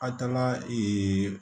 A taara